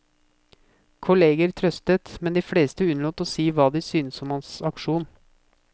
Kolleger trøstet, men de fleste unnlot å si hva de syntes om hans aksjon.